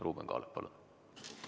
Ruuben Kaalep, palun!